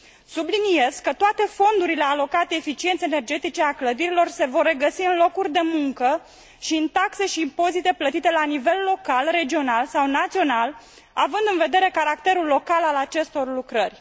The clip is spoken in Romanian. Subliniez că toate fondurile alocate eficienței energetice a clădirilor se vor regăsi în locuri de muncă și în taxe și impozite plătite la nivel local, regional sau național, având în vedere caracterul local al acestor lucrări.